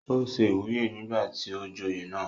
ó se ìwúyè nígbà tí ó joyè náà